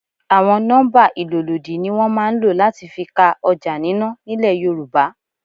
Àwọn nọ́mbà ìlólòdi ni wọn máa ń ló láti fi ka ọjà nínà nílẹ̀ Yorùbá.